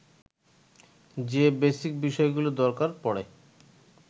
যে বেসিক বিষয়গুলো দরকার পড়ে